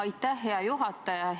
Aitäh, hea juhataja!